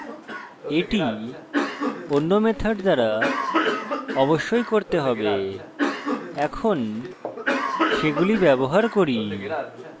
এটি অন্য methods দ্বারা অবশ্যই করতে হবে এখন সেগুলি ব্যবহার করি